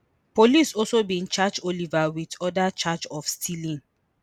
police also bin charge Oliver wit oda charge of stealing